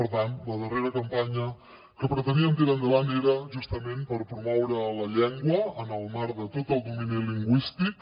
per tant la darrera campanya que preteníem tirar endavant era justament per promoure la llengua en el marc de tot el domini lingüístic